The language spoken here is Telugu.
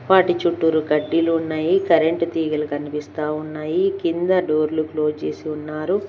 వాటి చుట్టూరు కడ్డీలు ఉన్నాయి కరెంట్ తీగలు కనిపిస్తా ఉన్నాయి కింద డోర్లూ క్లోజ్ చేసి ఉన్నారు.